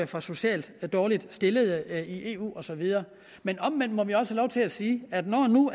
for socialt dårligt stillede i eu og så videre men omvendt må vi også have lov til at sige at når nu